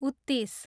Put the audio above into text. उत्तिस